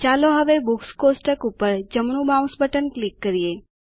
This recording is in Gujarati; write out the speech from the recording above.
ચાલો હવે બુક્સ કોષ્ટક ઉપર જમણું માઉસ બટન ક્લિક કરીએ